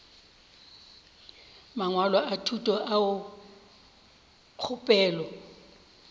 mangwalo a thuto ao kgopelo